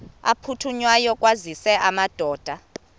aphuthunywayo kwaziswe amadoda